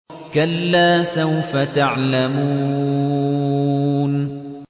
كَلَّا سَوْفَ تَعْلَمُونَ